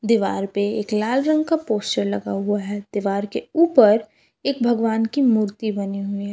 दीवार पे एक लाल रंग का पोस्टर लगा हुआ है दीवार के ऊपर एक भगवान की मूर्ति बनी हुई है।